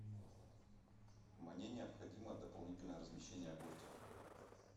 мне необходимо дополнительное размещение гостя